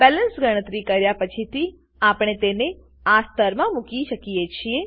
balance ગણતરી કર્યા પછી આપણે તેને આ સ્તરમાં મૂકી શકીએ છીએ